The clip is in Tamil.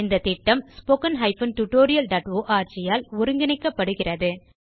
இந்த திட்டம் ஸ்போக்கன் tutorialஆர்க் ஆல் ஒருங்கிணைக்கப்படுகிறது